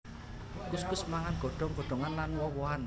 Kuskus mangan godhong godhongan lan woh wohan